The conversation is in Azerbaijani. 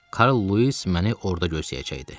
Karl Lewis məni orda gözləyəcəkdi.